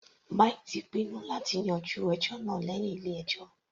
Mike ti pinnu láti yanjú ẹjọ́ náà lẹ́hìn ilé ẹjọ́.